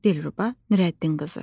Dilruba Nürəddinqızı.